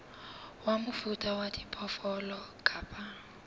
wa mofuta wa diphoofolo kapa